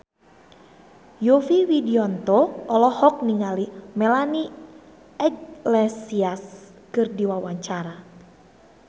Yovie Widianto olohok ningali Melanie Iglesias keur diwawancara